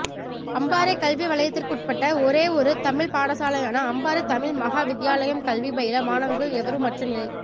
அம்பாறை கல்வி வலயத்திற்குட்பட்ட ஒரேயொரு தமிழ் பாடசாலையான அம்பாறை தமிழ் மகா வித்தியாலயம் கல்வி பயில மாணவர்கள் எவருமற்ற நிலை